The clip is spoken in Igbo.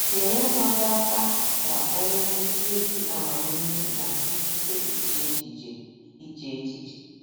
Nyere nwa gị aka ka o nwee “ ezi amamihe na ikike iche echiche. iche echiche. ”